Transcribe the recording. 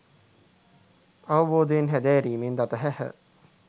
අවබෝධයෙන් හැදෑරීමෙන් දත හැහ